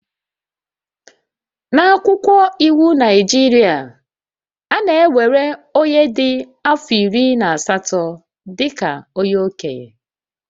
N'akwụkwọ iwu Naịjirịa, a na-ewere onye dị afọ iri na asatọ dị ka okenye